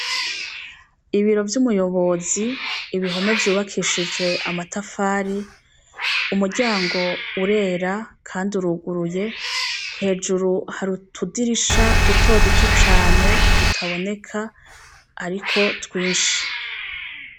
Ibiro vyumuyobozi ibihome vyubakishishwe amatafari umuryango urera kandi urugururye hejuru harutudirisha duto duto cane tutaboneka ariko twinshi